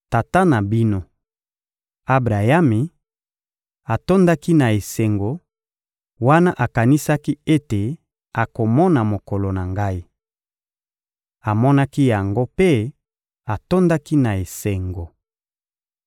Tata na bino, Abrayami, atondaki na esengo, wana akanisaki ete akomona mokolo na Ngai. Amonaki yango mpe atondaki na esengo.